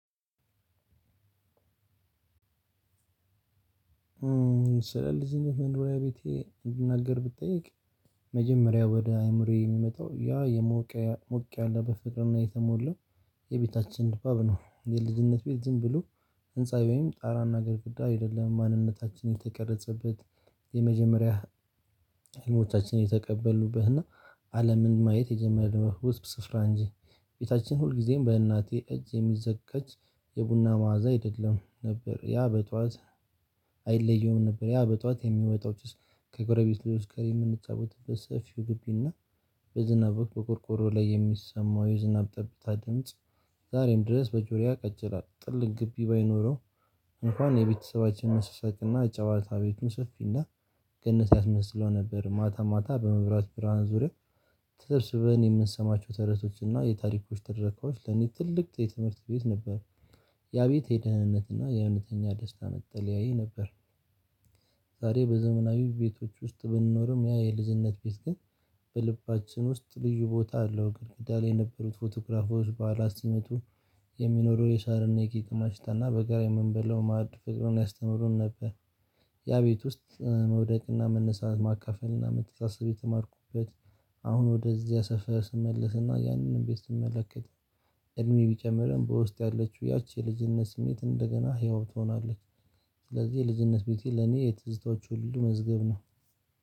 ስለልጅነት መኖርያ ቤቴ እንድናገር ብትጠይቅ መጀመሪያው ወደ አእምሮዬ የሚመጣው ያ የሞቅ ምቅ ያለ በፍጥረት የተሞላው የቤታችን ድባብ ነው። የልድነት ቤት ዝም ብሎ ህንፃዊ ወይም ጣራና ግድግዳ አይደለም ማንነታችን የተቀረጸበት የመጀመሪያ ህልሞቻችን የተቀበሉበትና አለምን ማየት የጀመርነው ውስብስብ ስፍራ እንጂ ቤታችን ሁልጊዜም በእናቴ እጅ የሚዘቀጭ የቡና መዓዛ አይደለም ነበር። ያ በጧት አይለየውም ነበር ያ በጧት የሚወጣው ጭስ ከጎረቤት ልጆች ጋር የምንጫወትበት ሰፊው ግቢና በዝናብ ወቅት በቆርቆሮ ላይ የሚሰማው የዝናብ ጠብታ ድምጽ። ዛሬም ድረስ በጆሮዬ አቀጭራት ጥልቅ ግቢ ባይኖረው እንኳን የቤተሰባችን መሳሳቅና ጨዋታ ቤቱን ሶፊና ገነት ያስመስለው ነበር። ማታ ማታ በመብራት ብርሃን ዙሪያ ተሰብስበን የምንሰማቸው ተረቶችና የታሪኮች ተረካዎች ለኔ ትልቅ የትምህርት ቤት ነበር። ያቤቴ የደህንነትና የእውነተኛ ደስታ መጠለያዬ ነበር። ዛሬ በዘመናዊ ቤቶች ውስጥ ብንኖርም ያ የልዝፈጅነት ቤት ግን በልባችን ውስጥ ልዩ ቦታ አለው። ግድግዳ ላይ የነበሩት ፎቶክራፎች ባዓላት ሲመጡስሜቱ የሚኖረው የሻርኔ ጌጥማሽ ሽታና በጋራ የምንበላው ማዕድ ፍቅሩን ያስተምሩን ነበር። ያ ቤት ውስጥ መውደቅና መነሳት ማካፈልና መተሳሰብ የተማርኩበት። አሁን ወደዚያ ሰፈር ስመለስና ያንንም ቤት ስመለከት እድሜ ቢጨምርም በውስጥ ያለችው ያቺ የልጅነት ስሜት እንደገና ህያው ትሆናለች። ስለዚህ የልጅነት ቤቴ ለኔ የትዝታዎቹ ሁሉ መዝገብ ነው።